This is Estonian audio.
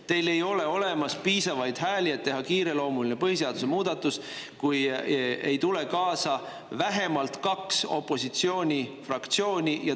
Teil ei ole piisavalt hääli, et teha kiireloomuline põhiseaduse muudatus, kui ei tule kaasa vähemalt kaks opositsioonifraktsiooni.